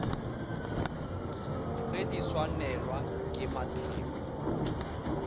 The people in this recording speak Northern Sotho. ge di swanelwa ke mathebo